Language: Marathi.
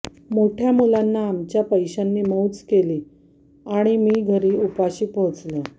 मोठ्या मुलांना आमच्या पैशांनी मौज केली आणि मी घरी उपाशी पोहचलो